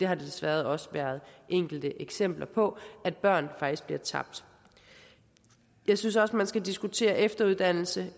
har desværre også været enkelte eksempler på at børn faktisk bliver tabt jeg synes også at man skal diskutere efteruddannelse